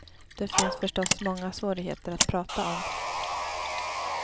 Det finns förstås många svårigheter att prata om.